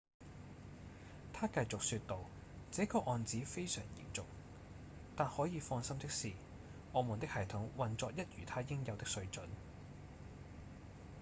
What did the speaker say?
他繼續說道：「這個案子非常嚴重但可以放心的是我們的系統運作一如它應有的水準」